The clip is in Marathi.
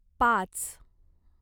पाच